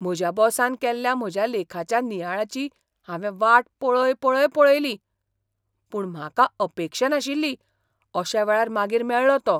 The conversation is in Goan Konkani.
म्हज्या बॉसान केल्ल्या म्हज्या लेखाच्या नियाळाची हांवें वाट पळय पळय पळयली. पूण म्हाका अपेक्षा नाशिल्ली अशा वेळार मागीर मेळ्ळो तो.